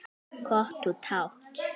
Hvort þú mátt!